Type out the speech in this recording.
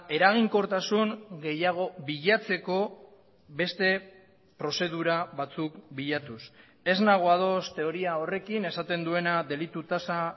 eraginkortasun gehiago bilatzeko beste prozedura batzuk bilatuz ez nago ados teoria horrekin esaten duena delitu tasa